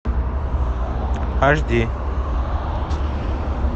аш ди